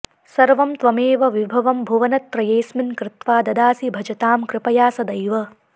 सर्वं त्वमेव विभवं भुवनत्रयेऽस्मिन् कृत्वा ददासि भजतां कृपया सदैव